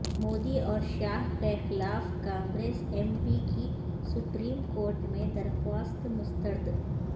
مودی اور شاہ کیخلاف کانگریس ایم پی کی سپریم کورٹ میں درخواست مسترد